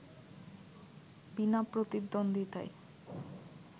বিনা প্রতিদ্বন্দ্বিতায়